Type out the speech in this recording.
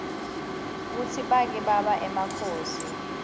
kutsi bake baba emakhosi